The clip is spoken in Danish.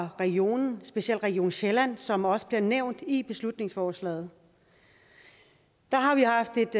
regionen specielt region sjælland som også bliver nævnt i beslutningsforslaget der har vi haft et